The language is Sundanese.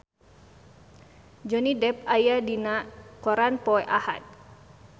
Johnny Depp aya dina koran poe Ahad